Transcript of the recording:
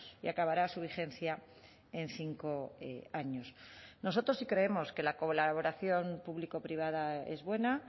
y acabará su vigencia en cinco años nosotros sí creemos que la colaboración público privada es buena